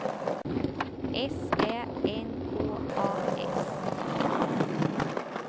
S Ä N K A S